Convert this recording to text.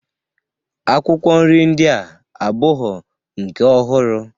Akwụkwọ nri ndịa abụghọ nke ọhụrụ